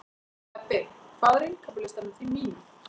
Ebbi, hvað er á innkaupalistanum mínum?